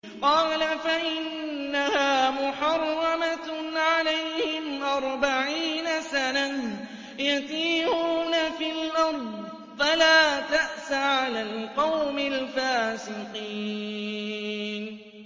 قَالَ فَإِنَّهَا مُحَرَّمَةٌ عَلَيْهِمْ ۛ أَرْبَعِينَ سَنَةً ۛ يَتِيهُونَ فِي الْأَرْضِ ۚ فَلَا تَأْسَ عَلَى الْقَوْمِ الْفَاسِقِينَ